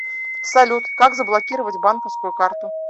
салют как заблокировать банковскую карту